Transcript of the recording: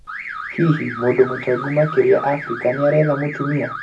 Hihi mũndũ mũtongu makĩria Afrika nĩaretha mũtumia?